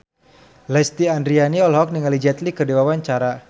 Lesti Andryani olohok ningali Jet Li keur diwawancara